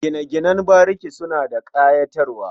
Gine-ginen bariki suna da ƙayatarwa.